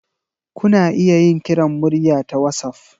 Kuna iya yin kiran murya ta wassaf.